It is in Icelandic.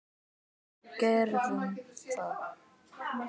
Við gerðum það.